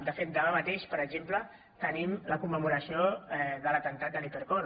de fet demà mateix per exemple tenim la commemoració de l’atemptat de l’hipercor